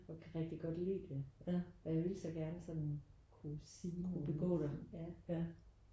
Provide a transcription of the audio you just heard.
Og kan rigtig godt lide det og jeg vil så gerne sådan kunne sige det ja